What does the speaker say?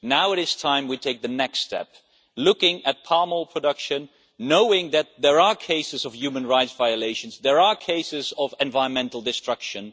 Now it is time for us to take the next step looking at palm oil production, knowing that there are cases of human rights violations, that there are cases of environmental destruction.